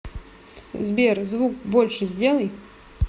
сбер звук больше сделай